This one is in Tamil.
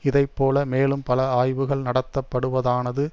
இதைப்போல மேலும் பல ஆய்வுகள் நடத்தப்படுவதானது